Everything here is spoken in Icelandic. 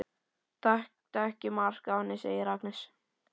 Taktu ekki mark á henni, segir Agnes.